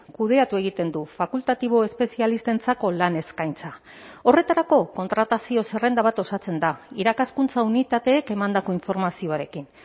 kudeatu egiten du fakultatibo espezialistentzako lan eskaintza horretarako kontratazio zerrenda bat osatzen da irakaskuntza unitateek emandako informazioarekin